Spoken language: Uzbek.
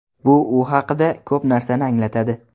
Bu u haqida ko‘p narsani anglatadi”.